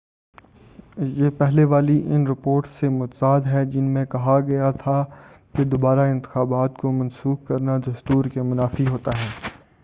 یہ پہلے والی ان رپورٹس سے متضاد ہے جن میں کہا گیا تھا کہ دوبارہ انتخابات کو منسوخ کرنا دستور کے منافی ہوتا